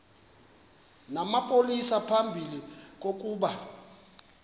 namapolisa phambi kokuba